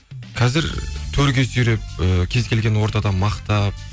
қазір төрге сүйреп і кез келген ортада мақтап